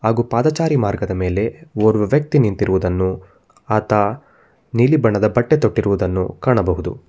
ಹಾಗೂ ಪಾದಚಾರಿ ಮಾರ್ಗದ ಮೇಲೆ ಓರ್ವ ವ್ಯಕ್ತಿ ನಿಂತಿರುವುದನ್ನು ಆತ ನೀಲಿ ಬಣ್ಣದ ಬಟ್ಟೆ ತೊಟ್ಟಿರುವುದನ್ನು ಕಾಣಬಹುದು.